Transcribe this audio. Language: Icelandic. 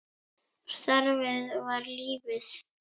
Starfið var lífið.